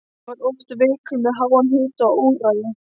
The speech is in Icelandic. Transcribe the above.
Hann var oft veikur með háan hita og óráði.